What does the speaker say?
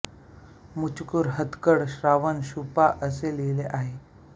मचुकुर हतगड श्रावण शु पा असे लिहिले आहे